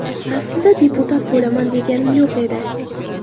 Aslida deputat bo‘laman deganim ham yo‘q edi.